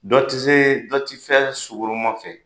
Dɔ ti se dɔ ti fɛn sugoroman fɛ.